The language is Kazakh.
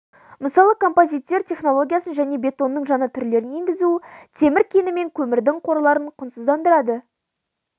мысалы композиттер технологиясын және бетонның жаңа түрлерін енгізу темір кені мен көмірдің қорларын құнсыздандырады